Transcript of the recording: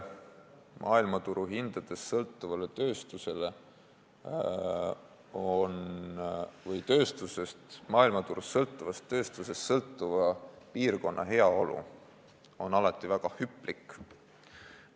Maailmaturust sõltuvast tööstusest sõltuva piirkonna heaolu on alati väga hüplik.